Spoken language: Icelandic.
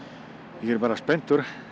ég er spenntur